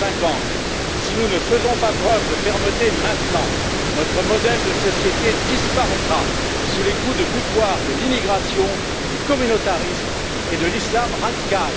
2050. Si nous ne faisons pas preuve de fermeté maintenant, notre modèle de société disparaîtra sous les coups de boutoir de l'immigration, du communautarisme et de l'Islam radical.